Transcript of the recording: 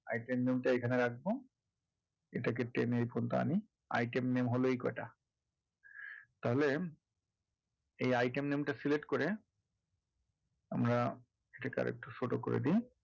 item name টা এইখানে রাখবো এটাকে টেনে এই পর্যন্ত আনি item name হলো এই কয়টা তাহলে এই item name টা select করে আমরা এটাকে আর একটু ছোট করে দিই